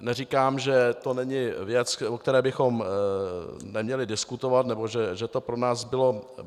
Neříkám, že to není věc, o které bychom neměli diskutovat, nebo že to pro nás